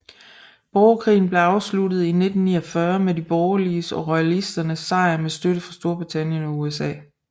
Borgerkrigen blev afsluttet i 1949 med de borgerliges og royalisternes sejr med støtte fra Storbritannien og USA